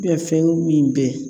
fɛnw min bɛ